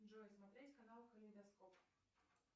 джой смотреть канал калейдоскоп